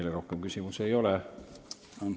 Teile rohkem küsimusi ei ole.